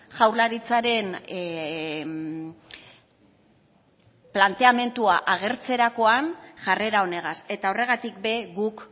jaurlaritzaren planteamendua agertzerakoan jarrera honegaz eta horregatik be guk